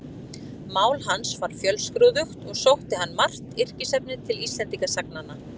Mál hans var fjölskrúðugt og sótti hann margt yrkisefnið til Íslendingasagnanna.